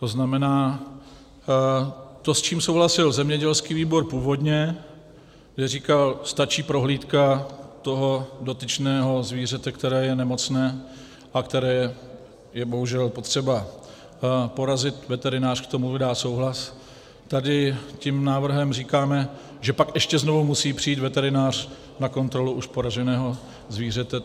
To znamená, to, s čím souhlasil zemědělský výbor původně, že říkal, stačí prohlídka toho dotyčného zvířete, které je nemocné a které je bohužel potřeba porazit, veterinář k tomu dá souhlas, tady tím návrhem říkám, že pak ještě znovu musí přijít veterinář na kontrolu už poraženého zvířete.